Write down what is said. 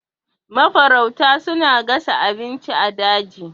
Mafarauta suna gasa abinci a daji.